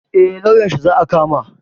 Eh lauyanshi za a kama